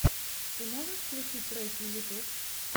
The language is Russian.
ты можешь включить треки ютюб